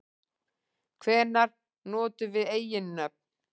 Hvenær notum við eiginnöfn?